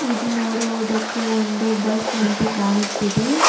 ಇದು ನೋಡೋವೋದಕ್ಕೆ ಒಂದು ಬಸ್ ನಂತೆ ಕಾಣುತ್ತಿದೆ.